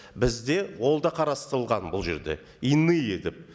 бізде ол да қарастырылған бұл жерде иные деп